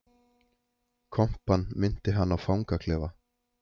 Kompan minnti hann á fangaklefa